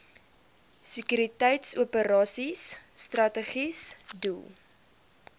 sekuriteitsoperasies strategiese doel